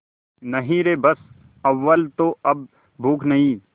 नहीं रे बस अव्वल तो अब भूख नहीं